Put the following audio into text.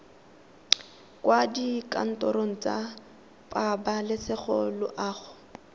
kwa dikantorong tsa pabalesego loago